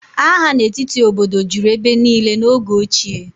Agha n'etiti obodo juru ebe niile n'oge ochie